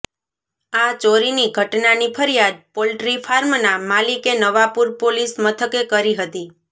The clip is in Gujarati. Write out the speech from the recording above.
આ ચોરીની ઘટનાની ફરિયાદ પોલ્ટ્રી ફાર્મના માલિકે નવાપુર પોલીસ મથકે કરી હતી